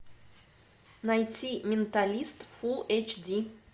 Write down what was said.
найти менталист фулл эйч ди